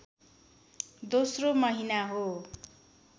दोस्रो महिना हो